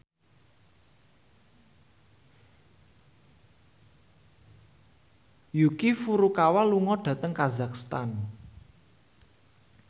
Yuki Furukawa lunga dhateng kazakhstan